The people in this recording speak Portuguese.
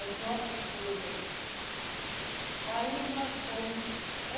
As nossas coreografias. aí nós fomos